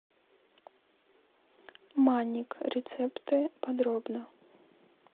манник рецепты подробно